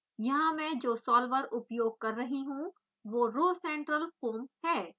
यहाँ मैं जो सॉल्वर उपयोग कर रही हूँ वो rhocentralfoam है